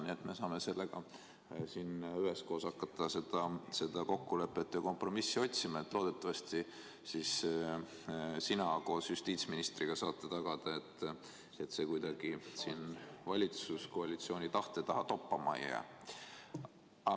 Nii et me saame üheskoos hakata seda kokkulepet või kompromissi otsima ja loodetavasti sina saad koos justiitsministriga tagada, et see kuidagi valitsuskoalitsiooni tahte taha toppama ei jää.